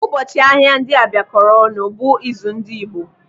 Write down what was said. Ụbọchị ahịa ndị a bịa kọọrọ ọnụ bụ izu ndị Igbo.